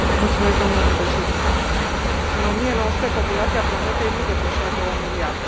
Domnule președinte, în 1900 populația planetei nu depășea 2 miliarde.